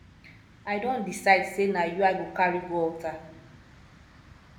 i don decide sey na you i go carry go altar